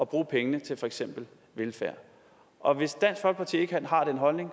bruge pengene til for eksempel velfærd og hvis dansk folkeparti ikke har den holdning